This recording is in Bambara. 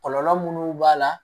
Kɔlɔlɔ munnu b'a la